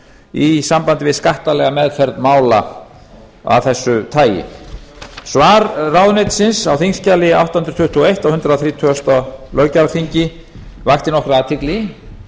í sambandi við skattalega meðferð mála af þessu tagi svar ráðuneytisins á þingskjali átta hundruð tuttugu og eitt á hundrað þrítugasta löggjafarþingi vakti nokkra athygli